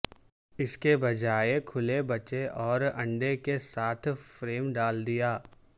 اس کے بجائے کھلے بچے اور انڈے کے ساتھ فریم ڈال دیا